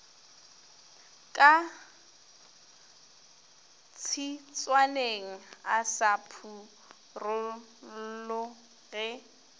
ka tshitswaneng a sa phurolloge